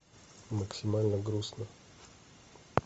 максимально грустно